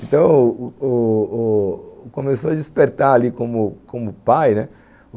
Então o o o, começou a despertar ali como pai, né?